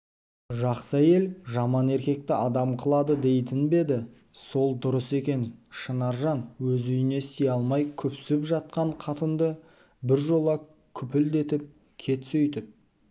жақсы әйел жаман еркекті адам қылады дейтін бе еді сол дұрыс екен шынаржан өзі үйіне сия алмай күпсіп жатқан қатынды біржола күпілдетіп кет сөйтіп